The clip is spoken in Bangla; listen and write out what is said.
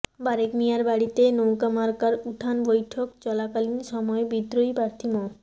বারেক মিয়ার বাড়ীতে নৌকা মার্কার উঠান বৈঠক চলাকালীন সময়ে বিদ্রোহী প্রার্থী মো